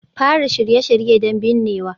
Fara Shirye-shirye don binnewa